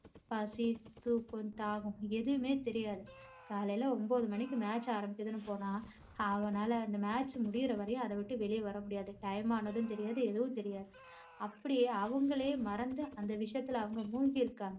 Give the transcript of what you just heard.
பசி தூக்கம் தாகம் எதுவுமே தெரியாது. காலையில ஒன்பது மணிக்கு match ஆரம்பிச்சதுன்னு போனா அவனால அந்த match முடியுற வரையும் அதை விட்டு வெளியே வர முடியாது time ஆனதும் தெரியாது எதுவுமே தெரியாது அப்படியே அவங்களையே மறந்து அந்த விஷயத்துல அவங்க மூழ்கி இருக்காங்க